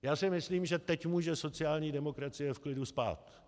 Já si myslím, že teď může sociální demokracie v klidu spát.